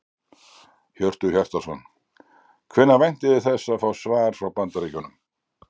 Hjörtur Hjartarson: Hvenær væntið þið þess að fá svar frá Bandaríkjunum?